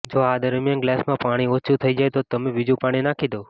જો આ દરમિયાન ગ્લાસમાં પાણી ઓછુ થઈ જાય તો તમે બીજુ પાણી નાખી દો